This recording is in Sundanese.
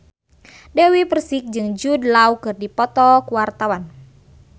Dewi Persik jeung Jude Law keur dipoto ku wartawan